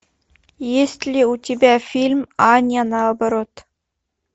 есть ли у тебя фильм аня наоборот